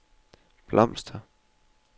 blomster